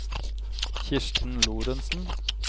Kirsten Lorentsen